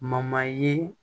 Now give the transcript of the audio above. ye